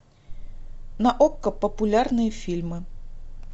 на окко популярные фильмы